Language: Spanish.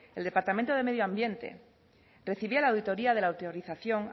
el departamento de medio ambiente recibía la auditoría de la autorización